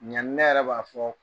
Ɲani ne yɛrɛ b'a fɔ